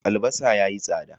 Albasa ya yi tsada.